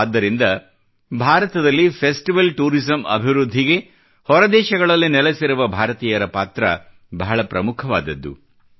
ಆದ್ದರಿಂದ ಭಾರತದಲ್ಲಿ festival tourism ಅಭಿವೃದ್ಧಿಗೆ ಹೊರ ದೇಶಗಳಲ್ಲಿ ನೆಲೆಸಿರುವ ಭಾರತೀಯರ ಪಾತ್ರ ಬಹಳ ಪ್ರಮುಖವಾದದ್ದು